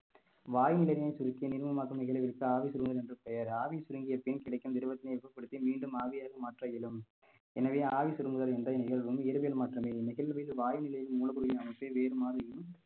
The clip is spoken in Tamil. வாயுநிலையை சுருக்கி நிர்மூலமாக்கும் நிகழ்விற்கு ஆவி சுருங்குதல் என்று பெயர் ஆவி சுருங்கிய பின் கிடைக்கும் திரவத்தினை வெப்பப்படுத்தி மீண்டும் ஆவியாக மாற்ற இயலும் எனவே ஆவி சுருங்குதல் என்ற நிகழ்வும் இயற்பியல் மாற்றம் நிகழ்வில் வாயுநிலையில் மூடக்கூடிய அமைப்பு வேறுமாதிரியும்